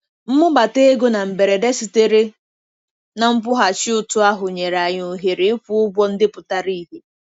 Mbubata ego na mberede sitere na nkwụghachi ụtụ ahụ nyere anyị ohere ịkwụ ụgwọ ndị pụtara ìhè.